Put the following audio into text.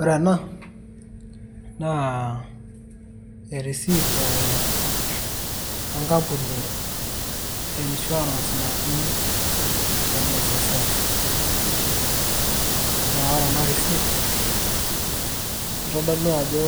Ore ena, naa erisiit eh enkampuni e insurance naji NSSF. Na ore ena risiit, kitodolu ajo